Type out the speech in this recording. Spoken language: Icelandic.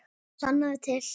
Sannaðu til.